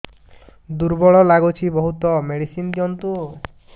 ଦୁର୍ବଳ ଲାଗୁଚି ବହୁତ ମେଡିସିନ ଦିଅନ୍ତୁ